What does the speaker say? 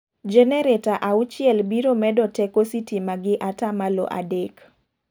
Genereta auchiel biro medo teko sitima gi ata malo adek.